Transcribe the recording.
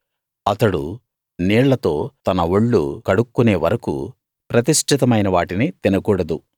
అతడు నీళ్లతో తన ఒళ్ళు కడుక్కునే వరకూ ప్రతిష్ఠితమైన వాటిని తినకూడదు